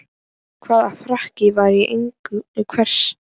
Hvaða frakki var í eigu hvers?